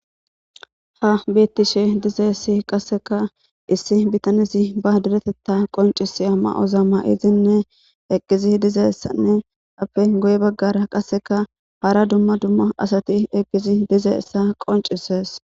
Ha beettishe dizeessi qasseka issi bitanesi ba diretetta qonciseya ma7ozamma izinne eqqizi dizaessanne appe goye baggara qasseka hara dumma dumma asati eqqizi dize issa qoncisees